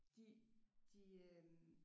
De de øh